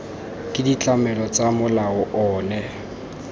ke ditlamelo tsa molao ono